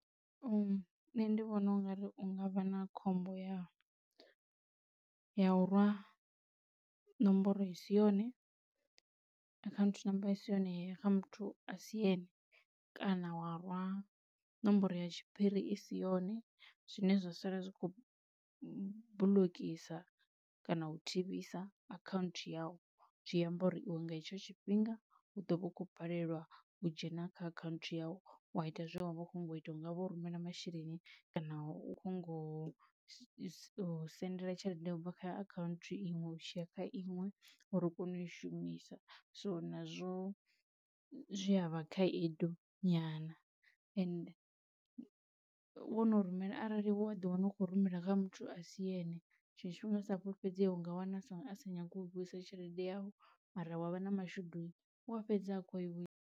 Nṋe ndi vhona ungari u ngavha na khombo ya ya u rwa ṋomboro i si yone account number isi yone ya ya kha muthu asi ene kana wa rwa nomboro ya tshiphiri i si yone zwine zwa sala zwi kho bulokisa kana u thivhiwa akhanthu yau zwiamba uri iwe nga hetsho tshifhinga u ḓo vha u khou balelwa u dzhena kha akhanthu yau wa ita zwine wavha ukho nyago ita, hu nga vha u rumela masheleni kana u kho nyago u so sendela tshelede ubva kha account iṅwe u tshiya kha iṅwe uri u kone u i shumisa so nazwo zwi avha khaedu nyana ende wono rumela arali wo a ḓi wana u khou rumela kha muthu a si ende tshiṅwe tshifhinga a sa fhulufhedzea u nga wana songo a sa nyagi u vhuisa tshelede yavho mara wa vha na mashudu u a fhedza a kho i.